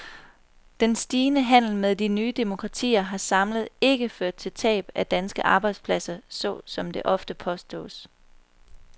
Den stigende handel med de nye demokratier har samlet ikke ført til tab af danske arbejdspladser, sådan som det ofte påstås.